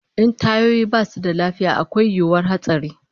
In tayoyi basu da lafiya akwai yiwuwar hatsari